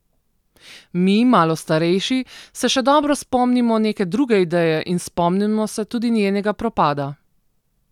Mi, malo starejši, se še dobro spomnimo neke druge ideje in spomnimo se tudi njenega propada.